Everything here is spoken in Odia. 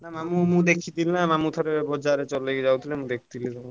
ମାମୁଁ ମୁ ଥରେ ଦେଖିଥିଲି ବଜାର ରେ ଥରେ ଯାଉଥିଲେ ଚଲେଇକି ଯାଉଥିଲେ ମୁଁ ଦେଖିଥିଲି।